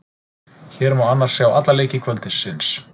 Hér má annars sjá alla leiki kvöldsins.